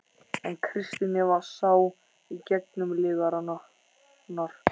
En Kristín Eva sá í gegnum lygarnar.